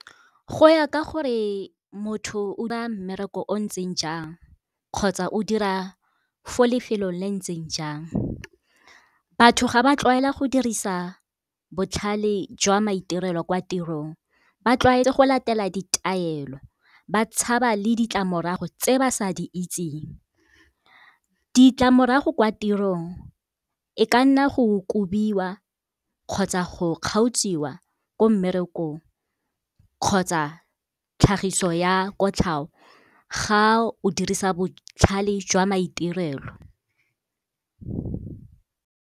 Go ya ka gore motho o mmereko o ntseng jang kgotsa o dira fo lefelong le ntseng jang. Batho ga ba tlwaela go dirisa botlhale jwa maitirelo kwa tirong, ba tlwaetse go latela ditaelo ba tshaba le ditlamorago tse ba sa di itseng. Ditlamorago kwa tirong e ka nna go kobiwa kgotsa go kgaotsiwa ko mmerekong kgotsa tlhagiso ya kotlhao, ga o dirisa botlhale jwa maitirelo.